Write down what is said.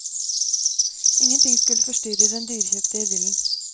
Ingenting skulle forstyrre den dyrekjøpte idyllen.